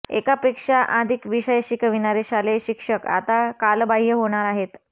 एकापेक्षा अधिक विषय शिकविणारे शालेय शिक्षक आता कालबाह्य होणार आहेत